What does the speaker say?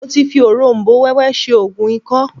Mo ti fi òróm̀bó wẹ́wẹ́ ṣe oògùn ikọ́